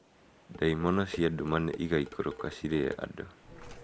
Ndaimono cia nduma nĩ igaikũrũka cirĩe andũ.